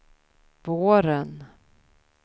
våren